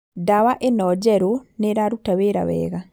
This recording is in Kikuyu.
Dawa ĩno njerũ nĩĩraruta wĩra wega